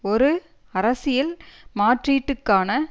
ஒரு அரசியல் மாற்றீட்டுக்கான